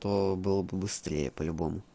то было бы быстрее по-любому